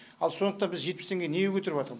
ал сондықтан біз жетпіс теңгеге неге көтеріватырм